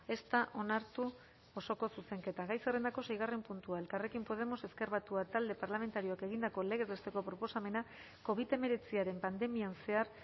ez da onartu osoko zuzenketa gai zerrendako seigarren puntua elkarrekin podemos ezker batua talde parlamentarioak egindako legez besteko proposamena covid hemeretziaren pandemian zehar